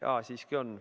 Aa, siiski on.